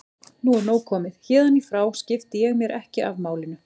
Nú er nóg komið, héðan í frá skipti ég mér ekki af málinu.